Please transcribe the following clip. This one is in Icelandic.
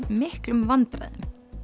miklum vandræðum